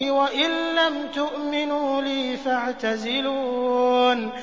وَإِن لَّمْ تُؤْمِنُوا لِي فَاعْتَزِلُونِ